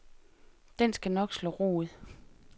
Den skal nok slå rod.